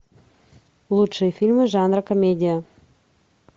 лучшие фильмы жанра комедия